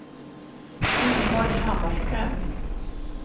Ingeborg Hammarström